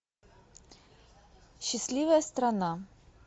счастливая страна